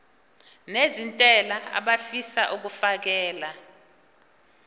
nezentela abafisa uukfakela